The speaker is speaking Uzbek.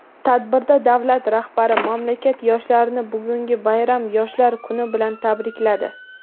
Tadbirda davlat rahbari mamlakat yoshlarini bugungi bayram – Yoshlar kuni bilan tabrikladi.